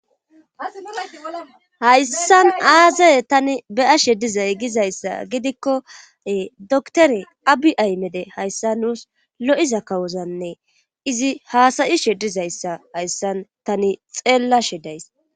hayssan aaze tani be'ashe dizay gizayssa gidikkoe doktore abi aymede hayssa nuus lo'iza kawozanne izi haasayishe dizayssa hayssan tani xeellashe days